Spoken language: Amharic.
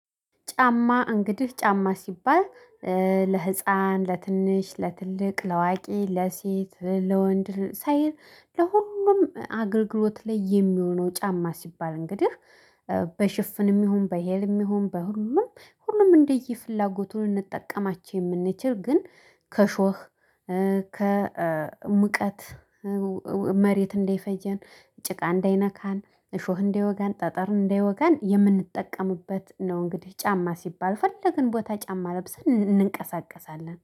ጫማ እንግዲህ ጫማ ሲባል ለህፃን ለትንሽ ለትልቅ ለአዋቂ ለሴት ለወንድ ሳይል ለሁሉም አገልግሎት ላይ የሚሆነው ጫማ ሲባል እንግዲህ በሽፍንም ይሁን በሂልም ይሁን በሁሉም ሁሉም እንደየ ፍላጎቱ ልንጠቀማቸው የምንችል ግን ከእሾህ ከሙቀት መሬት እንዳይፈጀን ጭቃ እንዳይነካን እሾህ እንዳይወጋን ጠጠር እንዳይወጋን የምንጠቀምበት ነው። እንግዲህ ጫማ ሲባል የፈለግን ቦታ ጫማ ለብሰን እንንቀሳቀሳለን